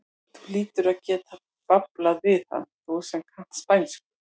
Þú hlýtur að geta bablað við hann, þú sem kannt spænsku!